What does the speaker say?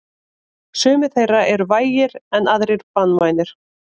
Sumir þeirra eru vægir en aðrir banvænir.